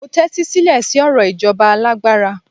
mo tẹtisilẹ si ọrọ ijoba alágbára